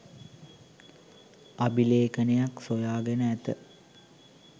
අභිලේඛනයක් සොයා ගෙන ඇත.